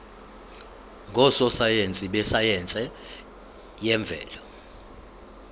ngososayense besayense yemvelo